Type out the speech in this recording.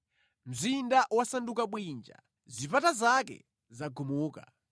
Mzinda wasanduka bwinja zipata zake zagumuka.